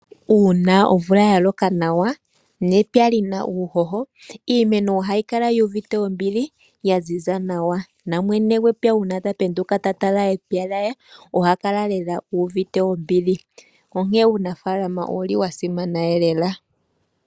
Uuna omvula ya loka nawa nepya lina uuhoho iimeno ohayi kala yu uvite ombili, ya ziza nawa. Na mwene gwepya uuna ta penduka ta tala epya lye oha kala lela uuvite ombili. Onkene uunafaalama owu li wa simana lela.